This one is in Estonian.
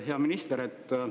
Hea minister!